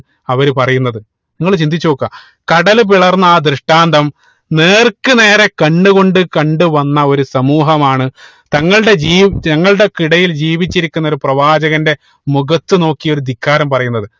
അവര് പറയുന്നത് നിങ്ങൾ ചിന്തിച്ച് നോക്കുക കടല് പിളർന്ന ആ ദൃഷ്ടാന്തം നേർക്കു നേരെ കണ്ണു കൊണ്ട്‌ കണ്ടു വന്ന ഒരു സമൂഹമാണ് തങ്ങളുടെ ജീവി തങ്ങളുടെ ഒക്കെ ഇടയിൽ ജീവിചിരിക്കുന്ന ഒരു പ്രവാചകന്റെ മുഖത്തു നോക്കി ഒരു ധിക്കാരം പറയുന്നത്